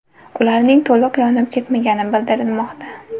Ularning to‘liq yonib ketmagani bildirilmoqda.